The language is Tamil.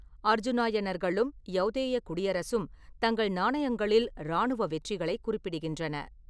அர்ஜூனாயனர்களும் யௌதேய குடியரசும் தங்கள் நாணயங்களில் இராணுவ வெற்றிகளைக் குறிப்பிடுகின்றன.